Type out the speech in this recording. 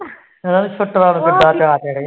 ਜਾ ਕੇ